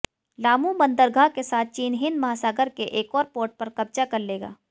Lamu बंदरगाह के साथ चीन हिंद महासागर के एक और पोर्ट पर कब्जा कर लेगा